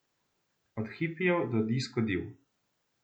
Od hipijev do disko div ...